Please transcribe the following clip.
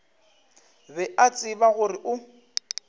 be a tseba gore o